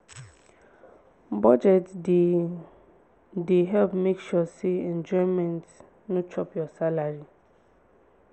budget dey dey help make sure say enjoyment no chop your salary